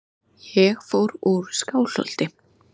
Ég fór úr Skálholti.